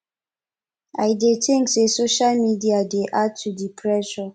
i dey think say social media dey add to di pressure